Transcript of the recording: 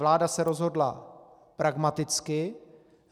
Vláda se rozhodla pragmaticky.